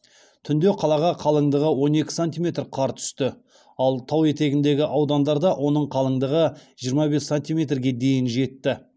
түнде қалаға қалыңдығы он екі сантиметр қар түсті ал тау етегіндегі аудандарда оның қалыңдығы жиырма бес сантиметрге дейін жетті